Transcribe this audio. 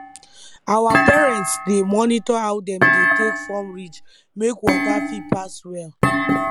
our parents dey monitor how dem dey take form ridge make water fit pass well